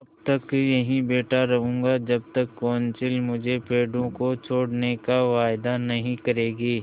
तब तक यहीं बैठा रहूँगा जब तक कौंसिल मुझे पेड़ों को छोड़ने का वायदा नहीं करेगी